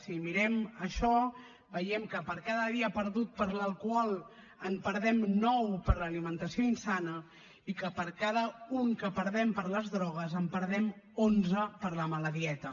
si mirem això veiem que per cada dia perdut per l’alcohol en perdem nou per l’alimentació insana i que per cada un que en perdem per les drogues en perdem onze per la mala dieta